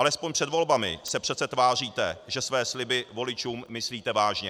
Alespoň před volbami se přece tváříte, že své sliby voličům myslíte vážně.